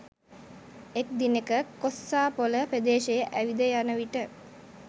එක් දිනෙක කොස්සාපොළ ප්‍රදේශයේ ඇවිද යන විට